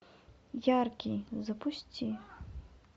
яркий запусти